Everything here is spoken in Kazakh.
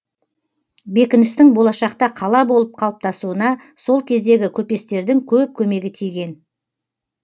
бекіністің болашақта қала болып қалыптасуына сол кездегі көпестердің көп көмегі тиген